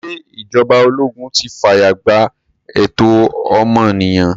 Ṣé ìjọba ologun ti fààye gbà ẹ̀tọ́ ọmọnìyàn?